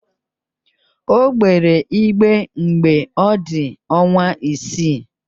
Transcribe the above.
O gbere igbe mgbe ọ dị ọnwa isii